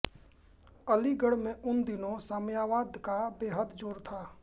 अलीगढ में उन दिनों साम्यवाद का बेहद ज़ोर था